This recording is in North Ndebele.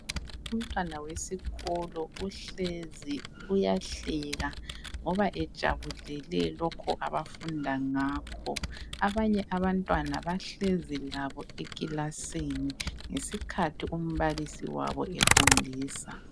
Umntwana wesikolo uhlezi uyahleka ngoba ejabulele lokho abafunda ngakho. Abanye abantwana bahlezi labo ekilasini ngesikhathi umbalisi wabo efundisa.